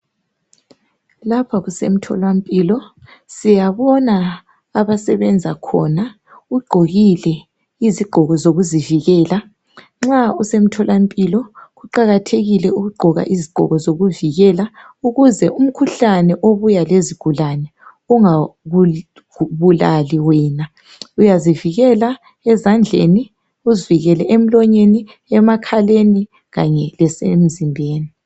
Lapha kusemtholampilo siyabona abasebenza khona ugqokile izigqoko zokuzivikela nxa usemtholampilo kuqakathekile ukugqoka izigqoko zokuvikela ukuze umkhuhlane obuya lezigulane ungakubulali wena uyazivikela ezandleni uzivikele emlonyeni ,emakhaleni kanye lesemzimbeni.